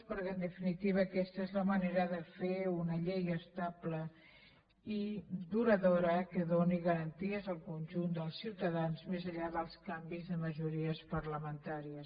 perquè en definitiva aquesta és la manera de fer una llei estable i duradora que doni garanties al conjunt de ciutadans més enllà dels canvis de majories parlamentàries